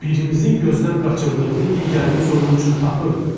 Birimizin gözdən qaçırdığını digərimiz onun üçün tapırdı.